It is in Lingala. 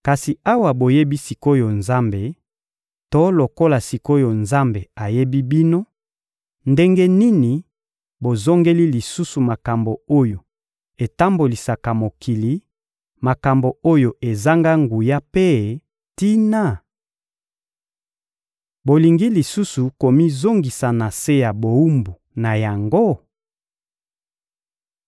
Kasi awa boyebi sik’oyo Nzambe to lokola sik’oyo Nzambe ayebi bino, ndenge nini bozongeli lisusu makambo oyo etambolisaka mokili, makambo oyo ezanga nguya mpe tina? Bolingi lisusu komizongisa na se ya bowumbu na yango?